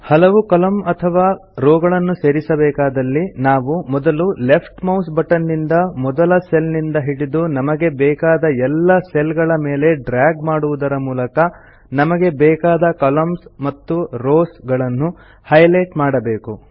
ಹಲವು ಕಾಲಮ್ನ ಅಥವಾ rowಗಳನ್ನೂ ಸೇರಿಸಬೇಕಾದಲ್ಲಿ ನಾವು ಮೊದಲು ಲೆಫ್ಟ್ ಮೌಸ್ ಬಟನ್ ನಿಂದ ಮೊದಲ ಸೆಲ್ ನಿಂದ ಹಿಡಿದು ನಮಗೆ ಬೇಕಾದ ಎಲ್ಲಾ ಸೆಲ್ ಗಳ ಮೇಲೆ ಡ್ರಾಗ್ ಮಾಡುವುದರ ಮೂಲಕ ನಮಗೆ ಬೇಕಾದ ಕಾಲಮ್ನ್ಸ್ ಅಥವಾ ರೋವ್ಸ್ ಗಳನ್ನು ಹೈ ಲೈಟ್ ಮಾಡಬೇಕು